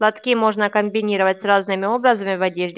платки можно комбинировать с разными образами в одежде